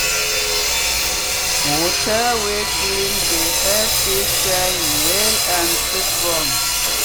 water wey clean dey help fish shine well and strong.